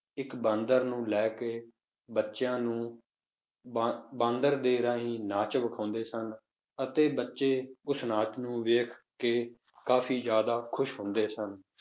ਇੱਕ ਬਾਂਦਰ ਨੂੰ ਲੈ ਕੇ ਬੱਚਿਆਂ ਨੂੰ ਬਾਂ~ ਬਾਂਦਰ ਦੇ ਰਾਹੀਂ ਨਾਚ ਵਖਾਉਂਦੇ ਸਨ, ਅਤੇ ਬੱਚੇ ਉਸ ਨਾਚ ਨੂੰ ਵੇਖ ਕੇ ਕਾਫ਼ੀ ਜ਼ਿਆਦਾ ਖ਼ੁਸ਼ ਹੁੰਦੇ ਸਨ